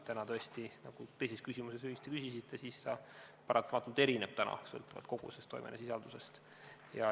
Praegu tõesti, nagu te teises küsimuses õigesti ütlesite, see paratamatult erineb, sõltuvalt kogusest ja toimeainesisaldusest.